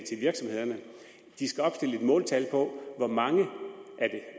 virksomhederne at de skal opstille et måltal for hvor mange af det